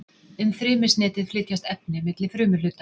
Um frymisnetið flytjast efni milli frumuhluta.